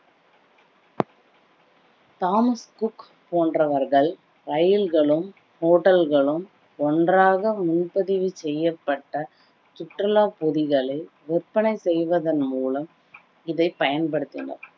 Thomas Cook போன்றவர்கள் இரயில்களும் hotel களும் ஒன்றாக முன்பதிவு செய்யப்பட்ட சுற்றுலா பொதிகளை விற்பனை செய்வதன் மூலம் இதை பயன்படுத்தினர்